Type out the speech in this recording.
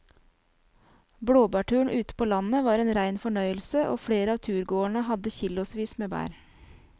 Blåbærturen ute på landet var en rein fornøyelse og flere av turgåerene hadde kilosvis med bær.